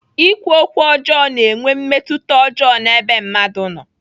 Ikwu okwu ọjọọ na-enwe mmetụta ọjọọ n'ebe mmadụ nọ.